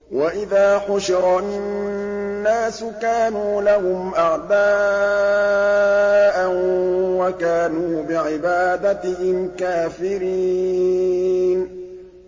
وَإِذَا حُشِرَ النَّاسُ كَانُوا لَهُمْ أَعْدَاءً وَكَانُوا بِعِبَادَتِهِمْ كَافِرِينَ